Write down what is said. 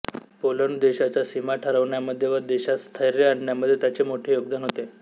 Poland देशाच्या सीमा ठरवण्यामध्ये व देशात स्थैर्य आणण्यामध्ये त्याचे मोठे योगदान होते